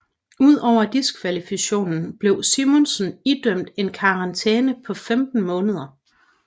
Ud over diskvalifikationen blev Simonsen idømt en karantæne på 15 måneder